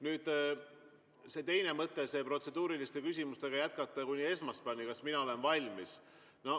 Nüüd, see teine mõte, et protseduuriliste küsimustega jätkata kuni esmaspäevani ja kas mina olen valmis.